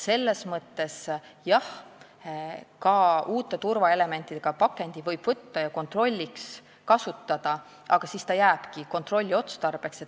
Selles mõttes, jah, võib ka uute turvaelementidega pakendit kontrolliks kasutada, aga siis ta jääbki kontrolli otstarbeks.